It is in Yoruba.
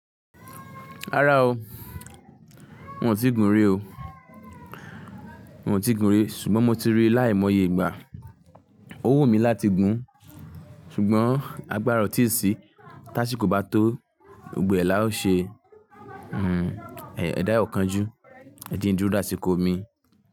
Rárá o, mi ò ti gùn rí o, mio ti gùn rí ṣùgbọ́n mo ti rí láìmọye ìgbà. Ó wù mí láti gùn ṣùgbọ́n agbára ọ tí sí táṣíko bá tó, gbogbo ẹ́ lá ó ṣe. Hmm, ẹ̀dá o kan ju, ẹje n duro de àsìkò mi.